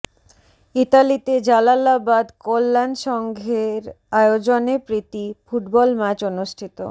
ইতালিতে জালালাবাদ কল্যাণ সংঘের আয়োজনে প্রীতি ফুটবল ম্যাচ অনুষ্ঠিত